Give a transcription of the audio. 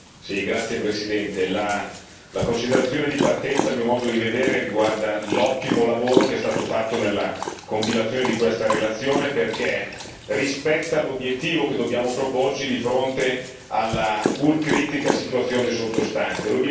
Signor Presidente, onorevoli colleghi, la considerazione di partenza, a mio modo di vedere, riguarda l'ottimo lavoro che è stato fatto nella compilazione di questa relazione, perché rispetta l'obiettivo che dobbiamo proporci di fronte alla pur critica situazione sottostante.